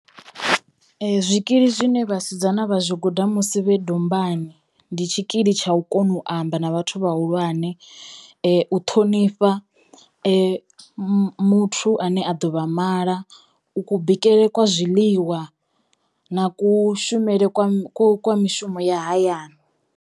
Zwikili zwine vhasidzana vha zwi guda musi vhe dombani ndi tshikili tsha u kono u amba na vhathu vhahulwane, u ṱhonifha mu muthu ane a ḓo vha mala, u ku bikele kwa zwiḽiwa na kushumele kwa ku kwa mishumo ya hayani.